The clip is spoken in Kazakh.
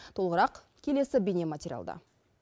толығырақ келесі бейнематериалда